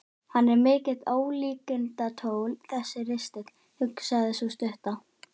Hann er mikið ólíkindatól þessi ristill, hugsaði sú stutta.